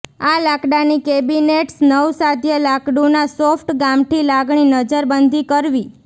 આ લાકડાની કેબિનેટ્સ નવસાધ્ય લાકડું ના સોફ્ટ ગામઠી લાગણી નજરબંધી કરવી